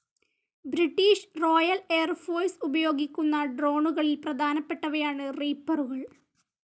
British Royal Air Force ഉപയോഗിക്കുന്ന ഡ്രോണുകളിൽ പ്രധാനപ്പെട്ടവയാണ് റീപ്പറുകൾ.